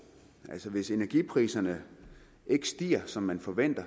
altså hvis energipriserne ikke stiger som man forventer